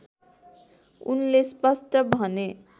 उनले स्पष्ट भने